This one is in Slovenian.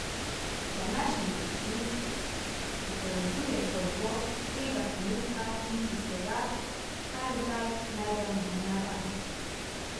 Današnji piknik pripoveduje zgodbo tega trenutka in tistega, kar zdaj najdemo v naravi.